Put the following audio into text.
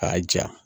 K'a ja